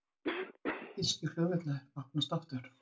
Þýskir flugvellir opnast aftur